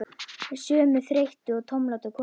Sömu þreyttu og tómlátu konuna?